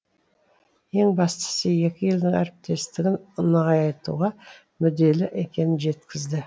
ең бастысы екі елдің әріптестігін нығайтуға мүдделі екенін жеткізді